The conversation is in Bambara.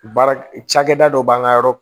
Baara cakɛda dɔ b'an ka yɔrɔ